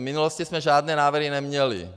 V minulosti jsme žádné návrhy neměli.